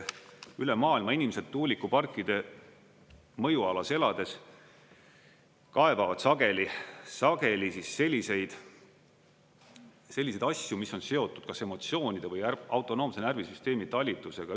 Üle maailma inimesed tuulikuparkide mõjualas elades kaebavad sageli selliseid asju, mis on seotud kas emotsioonide või autonoomse närvisüsteemi talitlusega.